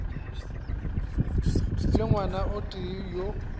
le ngwana o tee yo